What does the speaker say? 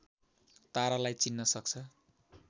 तारालाई चिन्न सक्छ